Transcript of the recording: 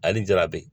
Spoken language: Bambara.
Ale ni jarabi